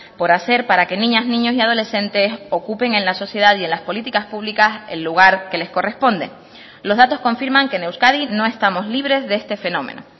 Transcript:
por hacer para que niñas niños y adolescentes ocupen en la sociedad y en las políticas públicas el lugar que les corresponde los datos confirman que en euskadi no estamos libres de este fenómeno